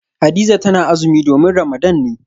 Hadiza tana azumi domin Ramadan ne